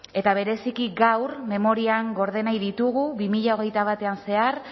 eta bereziki gaur memorian gorde nahi ditugu bi mila hogeita batean zehar